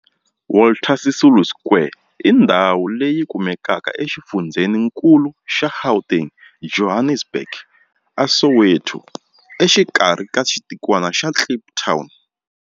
Walter Sisulu Square i ndhawu leyi kumekaka exifundzheninkulu xa Gauteng, Johannesburg, a Soweto, exikarhi ka xitikwana xa Kliptown.